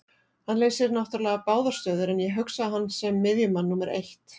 Hann leysir náttúrulega báðar stöður en ég hugsa hann sem miðjumann númer eitt.